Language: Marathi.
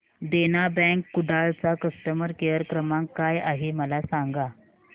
देना बँक कुडाळ चा कस्टमर केअर क्रमांक काय आहे मला सांगा